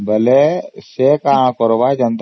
ସେ କଣ କରିବ ନା